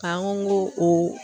K'an ko o